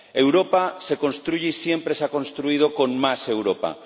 Europa se construye y siempre se ha construido con más Europa.